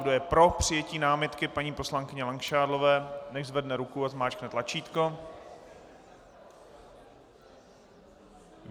Kdo je pro přijetí námitky paní poslankyně Langšádlové, nechť zvedne ruku a zmáčkne tlačítko.